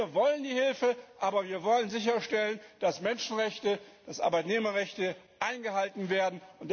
Wir wollen die Hilfe, aber wir wollen sicherstellen, dass Menschenrechte, dass Arbeitnehmerrechte eingehalten werden.